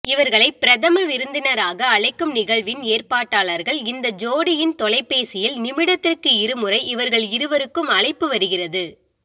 இவர்களை பிரதம விருந்தினராக அழைக்கும் நிகழ்வின் ஏற்பாட்டாளர்கள் இந்த ஜோடியின் தொலைபேசியில் நிமிடத்திற்கு இருமுறை இவர்கள் இருவருக்கும் அழைப்பு வருகிறது